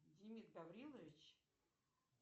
демид гаврилович